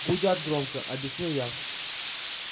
гудят громко объяснил я